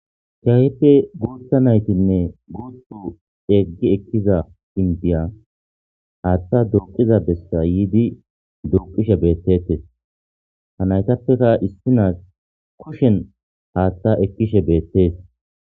cheayeppe gootha naytinne goottu eeggi ekkiza indiya haaththa duuqiza bessa yiidi duuqishe beettetes ha naytappeka issinaas koshen haaththa ekkishe beettees